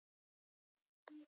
Svo settist hann og bætti við